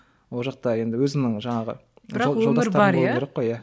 ол жақта енді өзімнің жаңағы жолдастарым болуы керек қой иә